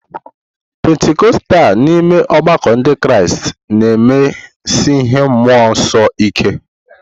Pentikọstal n'ime ọgbakọ Ndị Kraịst na-emesi ihe mmụọ nsọ ike.